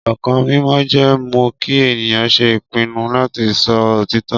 Ọkàn mímọ́ jẹ́ mọ́ kí ènìyàn ṣe ìpinnu láti máa sọ òtítọ́.